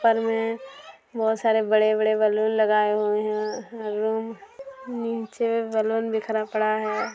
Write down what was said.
ऊपर मे बहोत सारे बड़े-बड़े बलून लगाए हुए है रूम नीचे बलून बिखरा पड़ा है।